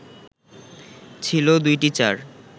ছিল ২টি চার